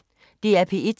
DR P1